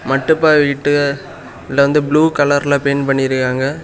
மட்டுபா வீட்ட அதுல வந்து ப்ளூ கலர்ல பெயிண்ட் பண்ணிருக்காய்ங்க.